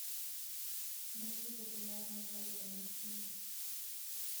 найти популярные военные фильмы